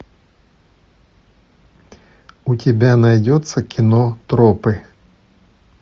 у тебя найдется кино тропы